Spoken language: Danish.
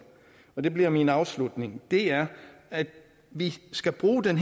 og det bliver min afslutning er at vi skal bruge den